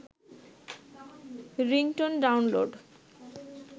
ringtone download